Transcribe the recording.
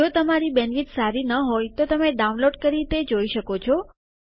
જો તમારી બેન્ડવિડ્થ સારી ન હોય તો તમે ડાઉનલોડ કરી તે જોઈ શકો છો